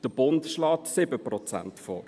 Der Bund schlägt 7 Prozent vor.